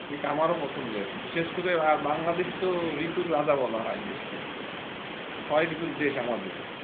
শীত আমারো পছন্দের বিশেষ করে বাংলাদেশ তো ঋতুর রাজা বলা হয় দেশকে ছয় ঋতুর দেশ আমাদের।